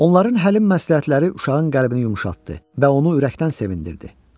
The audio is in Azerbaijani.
Onların həlim məsləhətləri uşağın qəlbini yumşaltdı və onu ürəkdən sevindirdi.